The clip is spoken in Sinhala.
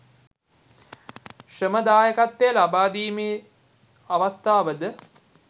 ශ්‍රම දායකත්වය ලබාදීමේ අවස්ථාවද